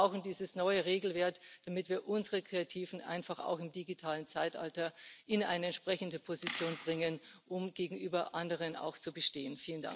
Wir brauchen dieses neue Regelwerk, damit wir unsere Kreativen einfach auch im digitalen Zeitalter in eine entsprechende Position bringen, um gegenüber anderen auch zu bestehen.